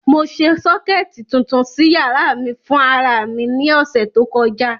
Mo ṣe sọ́kẹ̀tì tuntun sí yàrá mi fún ara mi ní ọ̀sẹ̀ tó kọjá.